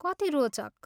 कति रोचक!